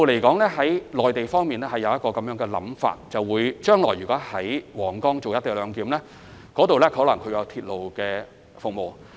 鐵路方面，內地的構思是，將來若在皇崗口岸採用"一地兩檢"安排，屆時可能會提供鐵路服務。